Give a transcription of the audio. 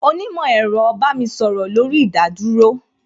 Onímò ẹ̀rọ bá mi sọ̀rọ̀ lórí ìdádúró